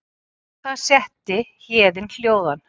Við það setti Héðin hljóðan.